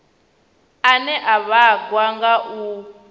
ane a vhangwa nga u